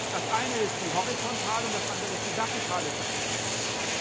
Das eine ist die horizontale und das andere ist die vertikale Segregation.